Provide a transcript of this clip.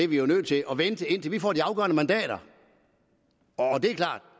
vi jo er nødt til at vente indtil vi får de afgørende mandater